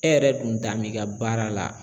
E yɛrɛ dun dan b'i ka baara la.